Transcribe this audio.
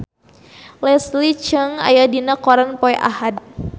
Leslie Cheung aya dina koran poe Ahad